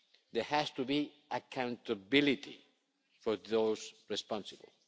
There has to be accountability for those responsible.